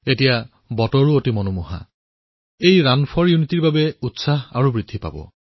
এতিয়া বতৰো সুন্দৰ আৰু সেইবাবে ৰাণ ফৰ ইউনিটীৰ বাবে উৎসাহো অধিক হব